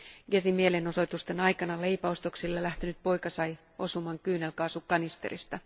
Gezin mielenosoitusten aikana leipäostoksille lähtenyt poika sai osuman kyynelkaasukanisterista.